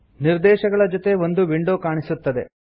ನಿರ್ದೇಶಗಳ ಜೊತೆಗೆ ಒಂದು ವಿಂಡೋ ಕಾಣಿಸುತ್ತದೆ